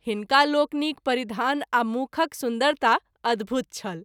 हिनका लोकनिक परिधान आ मुँखक सुन्दरता अद्भुत छल।